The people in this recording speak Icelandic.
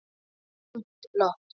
Þungt loft.